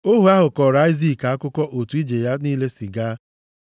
Ohu ahụ kọọrọ Aịzik akụkọ otu ije ya niile si gaa.